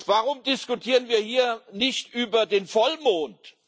Warum diskutieren wir hier nicht über den Vollmond?